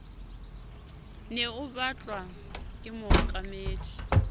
ne o batlwa ke mookamedi